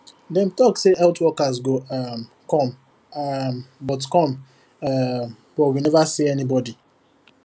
dem talk say health workers go um come um but come um but we never see anybody